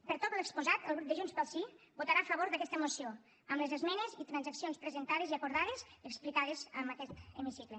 per tot el que s’ha exposat el grup de junts pel sí votarà a favor d’aquesta moció amb les esmenes i transaccions presentades i acordades explicades en aquest hemicicle